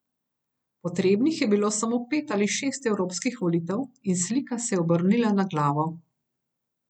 Potrebnih je bilo samo pet ali šest evropskih volitev in slika se je obrnila na glavo.